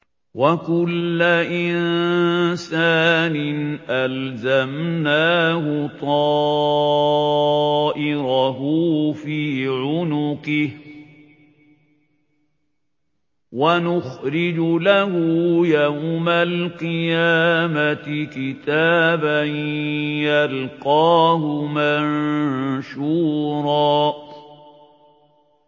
وَكُلَّ إِنسَانٍ أَلْزَمْنَاهُ طَائِرَهُ فِي عُنُقِهِ ۖ وَنُخْرِجُ لَهُ يَوْمَ الْقِيَامَةِ كِتَابًا يَلْقَاهُ مَنشُورًا